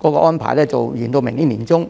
劃般，延長至明年年中。